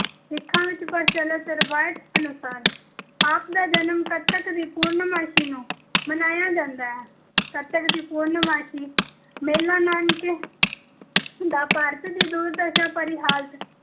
ਸਿੱਖਾਂ ਵਿੱਚ ਪ੍ਰਚੱਲਿਤ ਰਵਾਇਤ ਅਨੁਸਾਰ ਆਪ ਦਾ ਜਨਮ ਕੱਤਕ ਦੀ ਪੂਰਨਮਾਸੀ ਨੂੰ ਮਨਾਇਆ ਜਾਂਦਾ ਹੈ। ਕੱਤਕ ਦੀ ਪੂਰਨਮਾਸੀ ਮੇਲਾ ਨਨਕਾਣੇ ਦਾ ਭਾਰਤ ਦੀ ਦੁਰਦਸ਼ਾ ਭਰੀ ਹਾਲਤ -